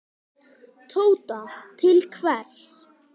Tóta: Til hvers?